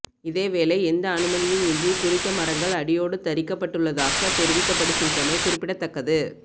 இதேவேளை எந்த அனுமதியும் இன்றி குறித்த மரங்கள் அடியோடு தறிக்கப்பட்டுள்ளதாக தெரிவிக்கப்படுகின்றமை குறிப்பிடத்தக்கது